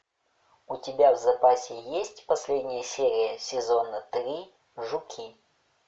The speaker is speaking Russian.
у тебя в запасе есть последняя серия сезона три жуки